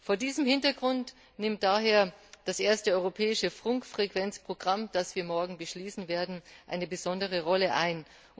Vor diesem Hintergrund nimmt daher das erste europäische Funkfrequenzprogramm, das wir morgen beschließen werden, eine besondere Rolle ein.